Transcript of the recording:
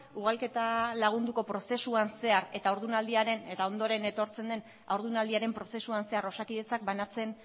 ugalketa lagunduko prozesuan zehar eta haurdunaldiaren eta ondoren etortzen den haurdunaldiaren prozesuan zehar osakidetzak banatzen